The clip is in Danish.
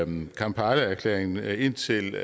med kampalaerklæringen indtil